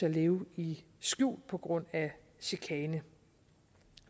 at leve i skjul på grund af chikane